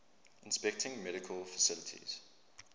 inspecting medical facilities